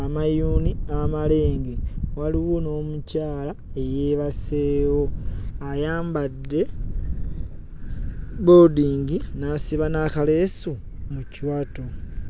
amayuuni amalenge, waliwo n'omukyala eyeebaseewo ayambadde bboodingi n'asiba n'akaleesu mu kiwato.